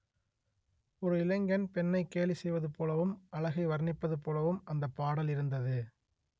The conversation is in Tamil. ஒரு இளைஞன் பெண்ணை கேலி செய்வது போலவும் அழகை வர்ணிப்பது போலவும் அந்த பாடல் இருந்தது